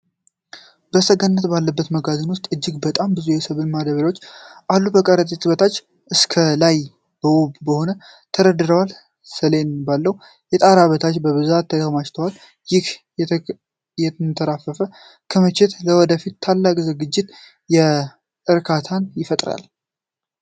ሰገነት ባለበት መጋዘን ውስጥ እጅግ በጣም ብዙ የሰብል ማዳብርያዎች አሉ። ከረጢቶቹ ከታች እስከ ላይ በውብ ሁኔታ ተደርድረዋል፤ ሰሌን ባለው የጣራ በታች በብዛት ተከማችተዋል። ይህ የተትረፈረፈ ክምችት ለወደፊቱ ታላቅ ዝግጁነትንና እርካታን ይፈጥራል።